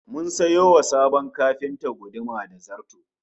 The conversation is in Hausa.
Mun sayo wa sabon kafintan guduma da zarto